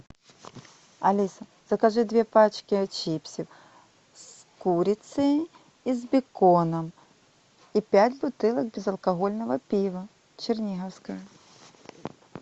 алиса закажи две пачки чипсов с курицей и с беконом и пять бутылок безалкогольного пива черниговское